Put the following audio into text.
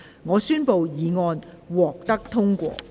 我宣布經修正的議案獲得通過。